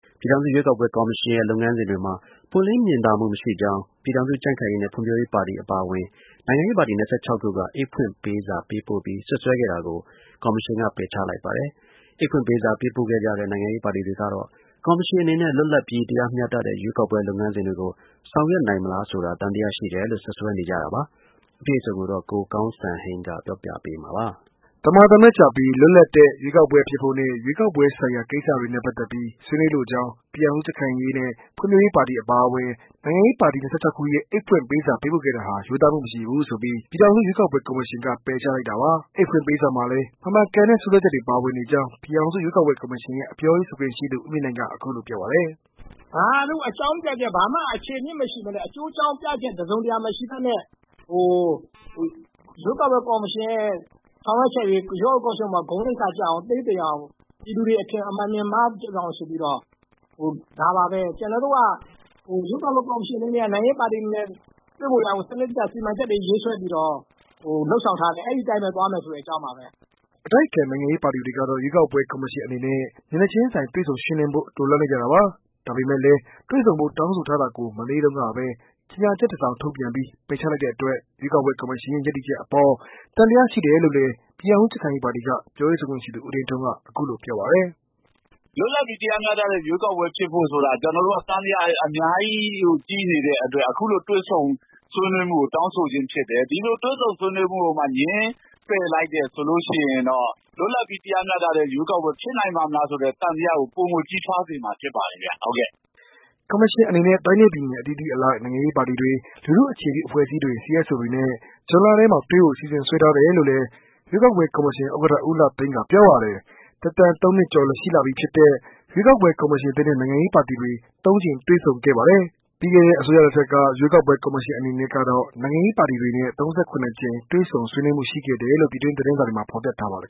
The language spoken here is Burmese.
ပြည်ထောင်စု ရွေးကောက်ပွဲ ကော်မရှင်ရဲ့ လုပ်ငန်းစဉ်တွေမှာ ပွင့်လင်းမြင်သာမှု မရှိကြောင်း အတိုက်အခံ ပြည်ထောင်စု ကြံ့ခိုင်ရေးနဲ့ ဖွံ့ဖြိုးရေးပါတီ အပါအဝင် နိုင်ငံရေးပါတီ ၂၆ ခုက အိတ်ဖွင့်ပေးစာ ပေးပို့ပြီး စွပ်စွဲခဲ့တာကို ကော်မရှင်က ပယ်ချလိုက်ပါတယ်။ အိတ်ဖွင့်ပေးစာ ပေးပို့ခဲ့ကြတဲ့ နိုင်ငံရေးပါတီတွေကတော့ ကော်မရှင်အနေနဲ့ လွတ်လပ်ပီး တရားမျှတတဲ့ ရွေးကောက်ပွဲ လုပ်ငန်းစဉ်တွေကို ဆောင်ရွက်နိုင်မလားဆိုတာ သံသယရှိတယ်လို့ စွပ်စွဲနေကြတာပါ။ အပြည့်အစုံကိုတော့ ကိုကောင်းစံဟိန်းက ပြောပြပေးမှာပါ။ သမာသမတ်ကျပီး လွတ်လပ်တဲ့ ရွေးကောက်ပွဲဖြစ်ဖို့နဲ့ ရွေးကောက်ပွဲဆိုင်ရာ ကိစ္စတွေနဲ့ ပတ်သက်ပီး ဆွေးနွေးလိုကြောင်း ပြည်ထောင်စုကြံ့ခိုင်ရေးနဲ့ ဖွံ့ဖြိုးရေးပါတီအပါအဝင် နိုင်ငံရေးပါတီ ၂၆ ခုရဲ့ အိတ်ဖွင့်ပေးစာ ပေးပို့ခဲ့တာဟာ ရိုးသားမှု မရှိဘူးဆိုပြီး ပြည်ထောင်စု ရွေးကောက်ပွဲ ကော်မရှင်က ပယ်ချလိုက်တာပါ။ အိတ်ဖွင့်ပေးစာမှာလည်း မမှန်ကန်တဲ့ စွပ်စွဲချက်တွေ ပါဝင်နေကြောင်း ပြည်ထောင်စု ရွေးကောက်ပွဲ ကေ်ာမရှင်ရဲ့ ပြောရေးဆိုခွင့်ရှိသူ ဦးမြင့်နိုင်က ပြောပါတယ်။ "ဘာမှ အခြေအမြစ်မရှိဘဲနဲ့ အကြောင်းပြချက် တစ်စုံတစ်ရာ မရှိဘဲနဲ့ ရွေးကော်ပွဲကောိမရှင်ရဲ့ ဆောင်ရွက်ချက်တွေကို ဂုဏ်သိက္ခာကျအောင် သေးသိမ်အောင် ပြည်သူတွေ အထင်မြင်လွဲအောင် ဒါပါဘဲ။" အတိုက်အခံ နိုင်ငံရေး ပါတီတွေကတော့ ရွေးကောက်ပွဲ ကော်မရှင်အနေနဲ့ မျက်နှာချင်းဆိုင်တွေ့ဆုံ ရှင်းလင်းဖို့ လိုလားနေကြတာပါ။ ဒါပေမဲ့လည်း တွေ့ဆုံဖို့ တောင်းဆိုထားတာကို မနေ့တုန်းကပဲ ကြေညာချက်တစောင် ထုတ်ပြန်ပြီး၊ ပယ်ချလိုက်တဲ့အတွက် ရွေးကောက်ပွဲ ကော်မရှင်ရဲ့ ရပ်တည်ချက်အပေါ် သံသယရှိတယ်လို့ ပြည်ထောင်စုကြံ့ခိုင်ရေးပါတီက ပြောရေးဆိုခွင့်ရှိသူ ဦးသိန်းထွန်းဦးက ပြောပါတယ်။ "လွတ်လပ်ပီး တရားမျှတတဲ့ ရွေးကောက်ပွဲ ဖြစ်ဖို့ဆိုတာ ကျနော်တို့က သံသယ အများကြီး ရှိနေတဲ့အတွက် ကျနော်တို့က အခုလိုတွေ့ဆုံဖို့ တောင်းဆို လိုက်ခြင်းဖြစ် တယ်။ဒီလိုတွေ့ဆုံဆွေးနွေးမှုကိုမှ ငြင်းလိုက်ရင် ပိုပီးသံသယ ဖြစ်စရာဖြစ်တယ်။" ကော်မရှင်အနေနဲ့ တိုင်းနဲ့ပြည်နယ် အသီးသီးအလိုက် နိုင်ငံရေး ပါတီတွေ၊ လူထုအခြေပြုအဖွဲ့အစည်း CSOတွေနဲ့ ဇွန်လထဲမှာ တွေ့ဖို့ အစီအစဉ်ဆွဲ ထားတယ်လို့လည်း ရွေးကော်ပွဲကော်မရှင် ဥက္ကဌဦးလှသိန်းကပြောပါတယ်။ သက်တမ်း၃နှစ်ကျော် ရှိလာပီဖြစ်တဲ့ ရွေးကောက်ပွဲ ကော်မရှင်သစ်နဲ့ နိုင်ငံရေးပါတီတွေ ၃ကြိမ် တွေ့ဆုံခဲ့ပါတယ်။ပြီးခဲ့တဲ့ အစိုးရလက်ထက်က ရွေးကောက်ပွဲ ကော်မရှင်အနေနဲ့ကတော့ နိုင်ငံရေးပါတီတွေနဲ့ ၃၇ ကြိမ် တွေ့ဆုံဆွေးနွေးမှုရှိခဲ့တယ်လို့ ပြည်တွင်းသတင်းစာတွေမှာ ဖော်ပြထားပါတယ်